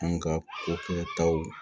An ka ko kɛtaw